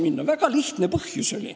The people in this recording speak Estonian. Sellel oli väga lihtne põhjus.